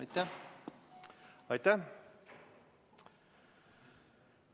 Aitäh!